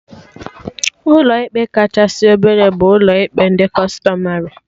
Ụlọ ikpe kachasị obele bụ ụlọ ikpe ndị Kụstọmarị